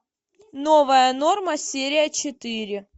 новая норма серия четыре